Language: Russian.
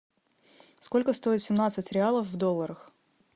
сколько стоит семнадцать реалов в долларах